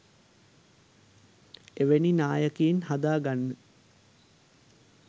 එවැනි නායකයින් හදාගන්න